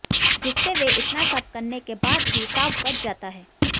जिससे वे इतना सब करने के बाद भी साफ बच जाता है